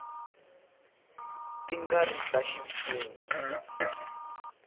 ti nga ri ta ximfumo